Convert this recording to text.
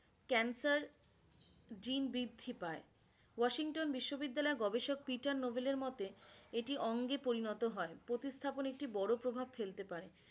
cancer gene বৃদ্ধি পায়ে। Washington বিশ্ববিদ্যালয়ের গবেষক পিটার নৌবিলের মোতে এটি অঙ্গে পরিণত হয়ে, প্রতিস্থাপন একটি বড়ো প্রভাব ফেলতে পারে